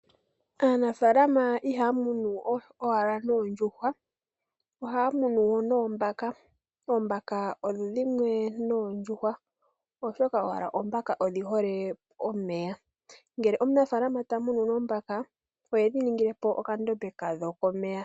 Aanafaalama ihaa munu owala oohi noondjuhwa, ohaa munu wo noombaka. Oombaka odho dhimwe noondjuhwa, oshoka owala oombaka dhi hole omeya. Ngele omunafaalama ta munu oombaka, ohedhi ningile po okandombe kadho komeya.